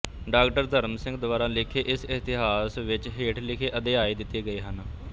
ਡਾ ਧਰਮ ਸਿੰਘ ਦੁਆਰਾ ਲਿਖੇ ਇਸ ਇਤਿਹਾਸ ਵਿੱਚ ਹੇਠ ਲਿਖੇ ਅਧਿਆਇ ਦਿੱਤੇ ਗਏ ਹਨ